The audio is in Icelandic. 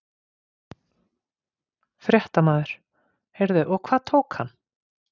Fréttamaður: Heyrðu og hvað tók hann?